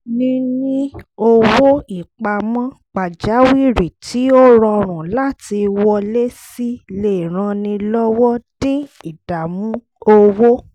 níní owó ìpamọ́ pajawírí tí ó rọrùn láti wọlé sí lè ran ni lọ́wọ́ dín ìdààmú owó